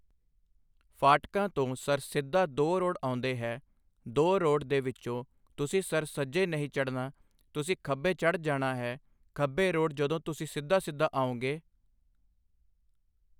ਫਾਟਕਾਂ ਤੋਂ ਸਰ ਸਿੱਧਾ ਦੋ ਰੋਡ ਆਉਂਦੇ ਹਨ ਦੋ ਰੋਡ ਦੇ ਵਿੱਚੋਂ ਤੁਸੀ ਸਰ ਸੱਜੇ ਨਹੀਂ ਚੜ੍ਹਨਾ ਤੁਸੀਂ ਖੱਬੇ ਚੜ੍ਹ ਜਾਣਾ ਹੈ ਖੱਬੇ ਰੋਡ ਜਦੋ ਤੁਸੀ ਸਿੱਧਾ ਸਿੱਧਾ ਆਉਂਗੇ